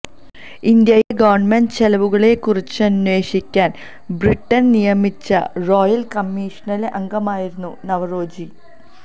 ഇന്ത്യയിലെ ഗവൺമെന്റ് ചെലവുകളെക്കുറിച്ചന്വേഷിക്കാൻ ബ്രിട്ടൻ നിയമിച്ച റോയൽ കമ്മിഷനിലെ അംഗമായിരുന്നു നവറോജി